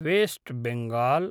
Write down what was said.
waste Bengal